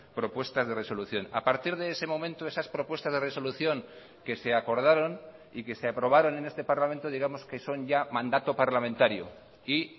propuestas de resolución a partir de ese momento esas propuestas de resolución que se acordaron y que se aprobaron en este parlamento digamos que son ya mandato parlamentario y